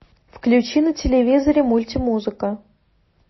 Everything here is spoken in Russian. включи на телевизоре мультимузыка